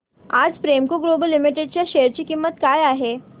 आज Premco global limited च्या share ची किंमत काय आहे